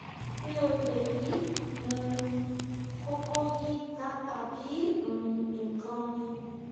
mi ò lè yí um koko yìí ká tàbí um nǹkan míì